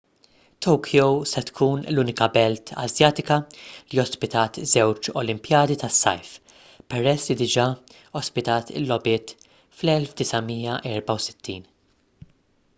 tokyo se tkun l-unika belt asjatika li ospitat żewġ olimpijadi tas-sajf peress li diġà ospitat il-logħbiet fl-1964